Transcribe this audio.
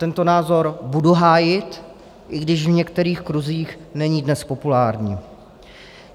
Tento názor budu hájit, i když v některých kruzích není dnes populární.